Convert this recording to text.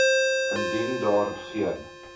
indien daar geen